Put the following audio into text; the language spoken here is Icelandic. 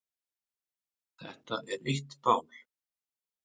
Þetta er eitt mál.